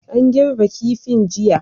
An girbe kifin jiya.